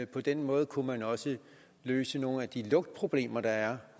på den måde kunne man også løse nogle af de lugtproblemer der er